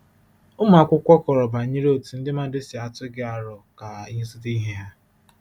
Ụmụ akwụkwọ kọrọ banyere otú ndị mmadụ si atụ gị aro ka ịzụta ihe ha.”